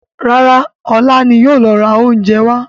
Rárá, ọlá ni yìí ó lọ ra oúnjẹ wá.